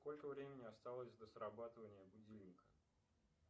сколько времени осталось до срабатывания будильника